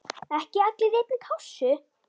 Ekki allir í einni kássu!